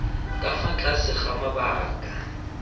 ka fa tlase ga mabaka